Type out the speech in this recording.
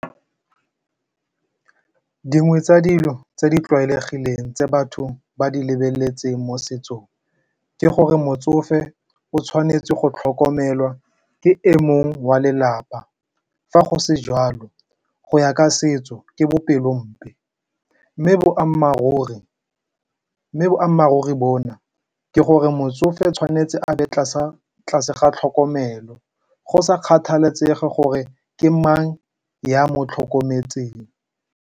Dingwe tsa dilo tse di tlwaelegileng tse batho ba di lebeletseng mo setsong ke gore motsofe o tshwanetse go tlhokomelwa ke e mongwe wa lelapa. Fa go se jwalo go ya ka setso ke bopelompe. Mme boammaaruri bona ke gore motsofe tshwanetse a be tlase ga tlhokomelo go sa kgathalesege gore ke mang ya mo tlhokometseng.